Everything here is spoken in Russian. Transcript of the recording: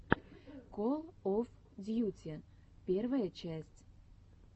кол оф дьюти первая часть